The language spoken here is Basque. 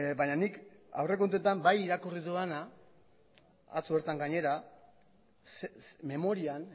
baina nik aurrekontuetan bai irakurri dudana atzo bertan gainera memorian